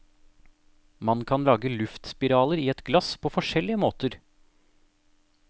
Man kan lage luftspiraler i et glass på forskjellige måter.